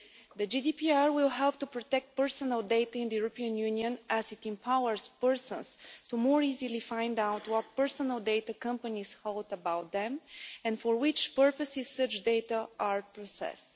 The GDPR will help to protect personal data in the European Union, as it empowers persons to more easily find out what personal data companies hold about them and for what purposes such data are processed.